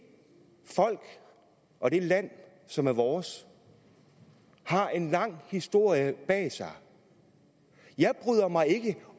folk og det land som er vores har en lang historie bag sig jeg bryder mig ikke